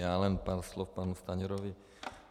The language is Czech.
Já jen pár slov panu Stanjurovi.